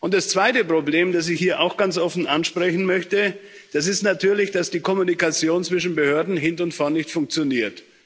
Das zweite Problem, das ich hier auch ganz offen ansprechen möchte, ist natürlich, dass die Kommunikation zwischen Behörden hinten und vorne nicht funktioniert.